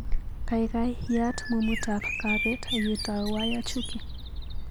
Kaikai yaat mumutap kapeet akitau Wyre Chuki.